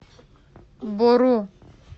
бору